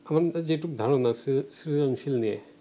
আমাদের যেটুক ধারণা সৃ~ সৃজনশীল নিয়ে